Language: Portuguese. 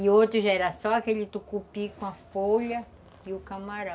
E outro já era só aquele tucupi com a folha e o camarão.